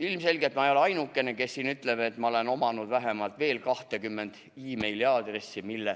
Ilmselgelt ma ei ole ainukene, kes siin ütleb, et ma olen omanud vähemalt veel 20 meiliaadressi, mille